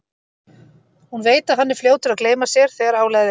Hún veit að hann er fljótur að gleyma sér þegar álagið eykst.